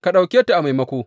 Ka ɗauke ta a maimako.